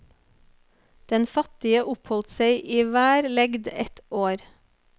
Den fattige oppholdt seg i hver legd ett år.